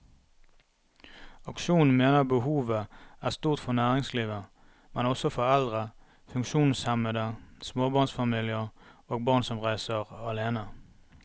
Aksjonen mener behovet er stort for næringslivet, men også for eldre, funksjonshemmede, småbarnsfamilier og barn som reiser alene.